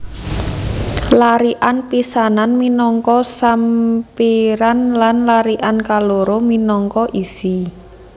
Larikan pisanan minangka sampiran lan larikan kaloro minangka isi